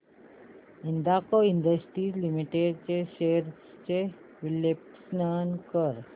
Hindalco industries limited shares चे विश्लेषण कर